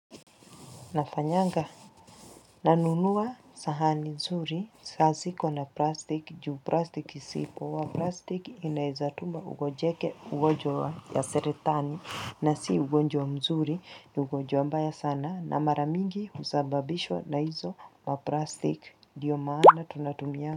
Nafanyanga nanunua sahani zuri saa haziko na plastic juu plastic si poa plastic inawezatuma ugonjeke ugonjwa ya saratani na si ugonjwa mzuri ni ugonjwa mbaya sana na mara mingi husababishwa na hizo maplastic ndio maana tunatumia.